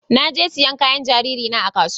Na je sayan kayan jariri na a kasuwa